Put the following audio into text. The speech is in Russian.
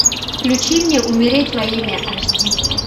включи мне умереть во имя аш ди